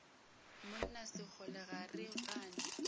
monna sekgole ga re gane